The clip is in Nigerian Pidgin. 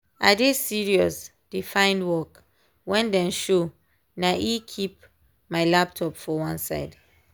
i dey serious dey find work when dem show na e keep my laptop for one side